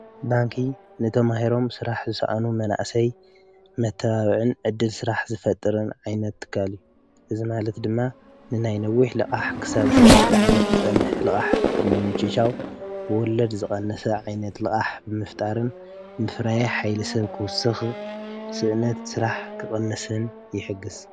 ባንኪንተማሂሮም ስራሕ ዝሰኣኑ መናእሰይ መተባብዕን ዕድል ስራሕ ዝፈጥርን ዓይነት ትካል እዩ፡፡ እዚ ማለት ድማ ንናይ ነዊሕ ልቓሕ ክሳብ ሸዉዓተ ዓመት ዝፀንሕ ልቓሕ ምምችቻው ወለድ ዝቐንሰ ዓይነት ልቓሕ ብምፍጣርን ምፍራይ ሓይሊ ሰብ ክውስኽ፣ ስእነት ስራሕ ክቕንስን ይሕግዝ፡፡